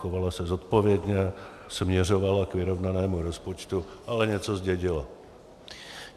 Chovala se zodpovědně, směřovala k vyrovnanému rozpočtu, ale něco zdědila.